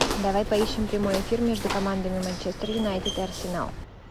давай поищем прямой эфир между командами манчестер юнайтед и арсенал